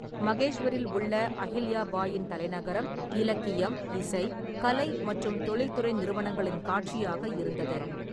மகேஷ்வரில் உள்ள அஹில்யா பாயின் தலைநகரம் இலக்கியம், இசை, கலை மற்றும் தொழில்துறை நிறுவனங்களின் காட்சியாக இருந்தது.